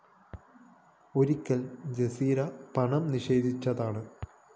ഒരിക്കല്‍ ജസീറ പണം നിഷേധിച്ചതാണ്